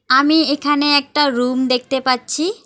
আমি এখানে একটা রুম দেখতে পাচ্ছি।